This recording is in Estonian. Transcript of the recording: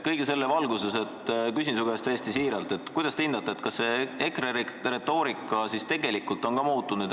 " Kõige selle valguses küsin su käest täiesti siiralt: kuidas sa hindad, kas EKRE retoorika tegelikult on ka muutunud?